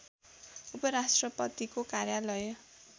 उपराष्ट्रपतिको कार्यालय